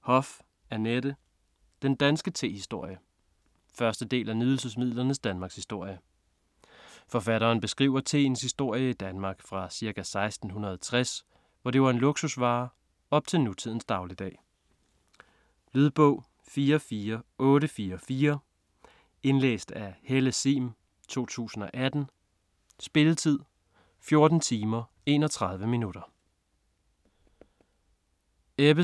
Hoff, Annette: Den danske tehistorie 1. del af Nydelsesmidlernes Danmarkshistorie. Forfatteren beskriver teens historie i Danmark fra ca. 1660, hvor det var en luksusvare, op til nutidens dagligdag. Lydbog 44844 Indlæst af Helle Sihm, 2018. Spilletid: 14 timer, 31 minutter.